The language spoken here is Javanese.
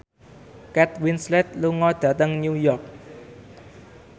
Kate Winslet lunga dhateng New York